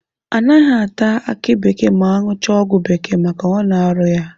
Anaghị ata aki bekee ma aṅụchaa ọgwụ bekee maka ọ na-arụ ya.